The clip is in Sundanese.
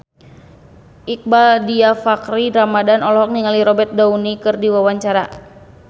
Iqbaal Dhiafakhri Ramadhan olohok ningali Robert Downey keur diwawancara